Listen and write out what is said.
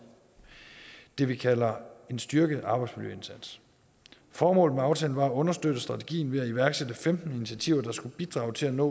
det vi kalder en styrket arbejdsmiljøindsats formålet med aftalen var at understøtte strategien ved at iværksætte femten initiativer der skulle bidrage til at nå